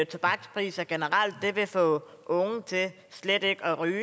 tobakspriser generelt vil få unge til slet ikke at ryge